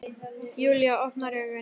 Júlía opnar augun.